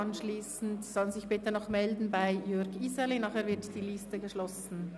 Diese sollen sich bitte noch bei Jürg Iseli melden, nachher wird die Liste geschlossen.